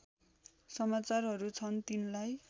समाचारहरू छन् तिनलाई